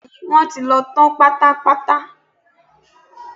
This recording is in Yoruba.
Bẹ́ẹ̀ni, wọ́n ti lọ tán pátápátá